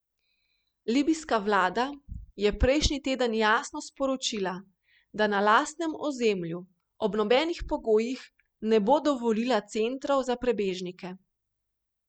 Libijska vlada je prejšnji teden jasno sporočila, da na lastnem ozemlju ob nobenih pogojih ne bo dovolila centrov za prebežnike.